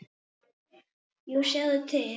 Jú, sjáðu til.